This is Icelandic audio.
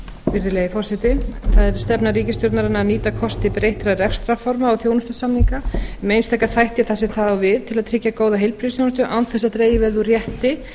virðulegi forseti það er stefna ríkisstjórnarinnar að nýta kosti breyttra rekstrarforma og þjónustusamninga um einstaka þætti þar sem það þá við til að tryggja góða heilbrigðisþjónustu án þess að dregið verði úr rétti